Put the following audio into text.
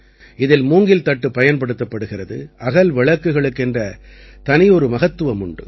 இதில் மூங்கில் தட்டு பயன்படுத்தப்படுகிறது அகல் விளக்குகளுக்கென்ற தனியொரு மகத்துவம் உண்டு